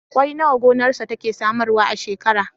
Kwai nawa gonarsa take samarwa a shekara?